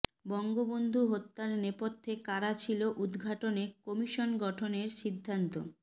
বঙ্গবন্ধু হত্যার নেপথ্যে কারা ছিল উদ্ঘাটনে কমিশন গঠনের সিদ্ধান্ত